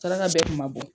Saraka bɛɛ tun ma bɔ